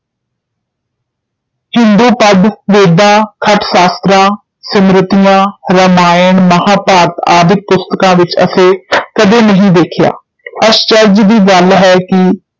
ਹਿੰਦੂ ਪਦ ਵੇਦਾਂ, ਖਟ ਸ਼ਾਸਤ੍ਰਾਂ, ਸਿੰਮ੍ਰਤੀਆਂ, ਰਾਮਾਇਣ, ਮਹਾਭਾਰਤ ਆਦਿਕ ਪੁਸਤਕਾਂ ਵਿੱਚ ਅਸੀਂ ਕਦੇ ਨਹੀਂ ਦੇਖਿਆ ਅਸਚਰਜ ਦੀ ਗੱਲ ਹੈ ਕਿ